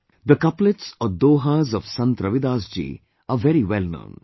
The couplets or 'dohas' of Sant Ravidas ji are very wellknown